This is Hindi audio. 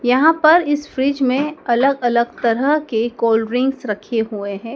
यहाँ पर इस फ्रिज मे अलग अलग तरह के कोल्डड्रिंक्स रखे हुए हैं।